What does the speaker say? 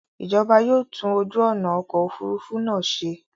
Ìjọba yóò tún ojú ọ̀nà ọkọ̀ òfurufú náà ṣe.